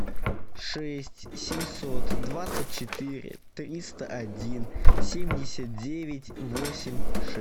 шесть семьсот двадцать четыре триста один семьдесят девять восемь